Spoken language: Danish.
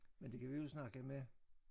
Men det kan vi jo snakke med